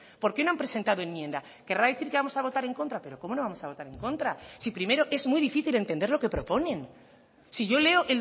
por qué no han presentada enmienda querrá decir que vamos a votar en contra pero cómo no vamos a votar en contras si primero es muy difícil entender lo que proponen si yo leo